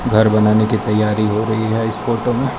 घर बनाने की तैयारी हो रही है इस फोटो में --